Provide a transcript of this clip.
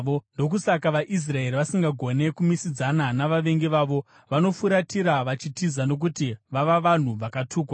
Ndokusaka vaIsraeri vasingagoni kumisidzana navavengi vavo; vanofuratira vachitiza nokuti vava vanhu vakatukwa.